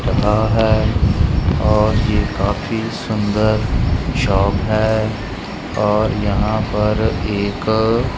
रहा है और ये काफी सुंदर शॉप है और यहां पर एक--